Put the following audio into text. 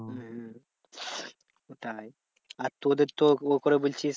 হম হম ওটাই আর তোদের তো ও করে বলছিস